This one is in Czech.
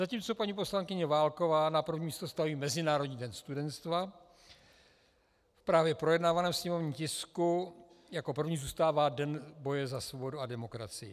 Zatímco paní poslankyně Válková na první místo staví Mezinárodní den studenstva, v právě projednávaném sněmovním tisku jako první zůstává Den boje za svobodu a demokracii.